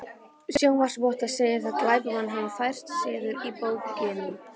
Sjónarvottar segja, að glamparnir hafi færst suður á bóginn.